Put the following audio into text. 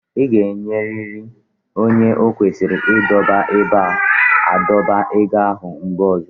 Ị ga-enyeriri onye o kwesịrị igodo ebe a na-adọba ego ahụ mgbe ọzọ.